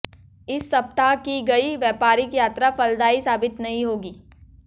इस सप्ताह की गई व्यापारिक यात्रा फलदायी साबित नहीं होगी